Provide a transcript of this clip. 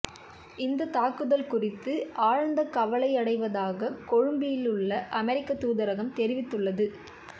இந்தத் தாக்குதல் குறித்து ஆழ்ந்த கவலையடைவதாக கொழும்பிலுள்ள அமெரிக்க தூதரகம் தெரிவித்துள்ளது